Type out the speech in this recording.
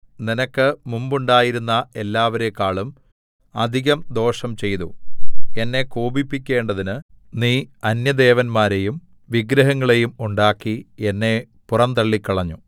നിനക്ക് മുമ്പുണ്ടായിരുന്ന എല്ലാവരെക്കാളും അധികം ദോഷം ചെയ്തു എന്നെ കോപിപ്പിക്കേണ്ടതിന് നീ അന്യദേവന്മാരെയും വിഗ്രഹങ്ങളെയും ഉണ്ടാക്കി എന്നെ പുറന്തള്ളികളഞ്ഞു